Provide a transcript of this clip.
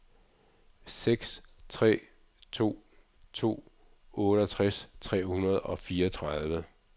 seks tre to to otteogtres tre hundrede og fireogtredive